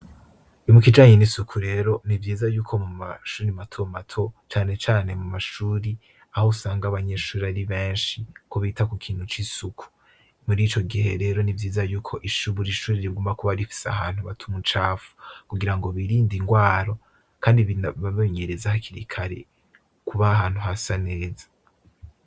Mu kijanye n'isuku rero, ni vyiza y'uko mu mashuri mato mato, cane cane mu mashuri, aho usanga abanyeshure ari benshi, ko bita ku kintu c'isuku; muri ico gihe rero, ni vyiza y'uko buri shuri rigomba kuba rifise ahantu bata umucafu kugirango birinde ingwara kandi babe bimenyereza hakiri kare kuba ahantu hasa neza.